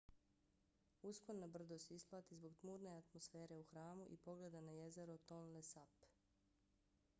uspon na brdo se isplati zbog tmurne atmosfere u hramu i pogleda na jezero tonle sap